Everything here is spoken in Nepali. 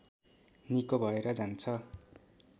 निको भएर जान्छ